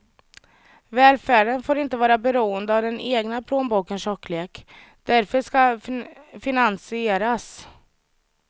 Välfärden får inte vara beroende av den egna plånbokens tjocklek, därför ska den finansieras gemensamt.